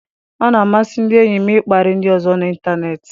Ọ na-amasị ndị enyi m ịkparị ndị ọzọ n'ịntanetị.